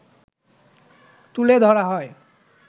তুলে ধরা হয়